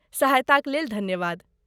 सहायताक लेल धन्यवाद।